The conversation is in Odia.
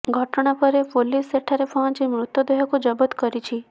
ଘଟଣା ପରେ ପୋଲିସ ସେଠାରେ ପହଞ୍ଚି ମୃତଦେହକୁ ଜବତ କରିଛି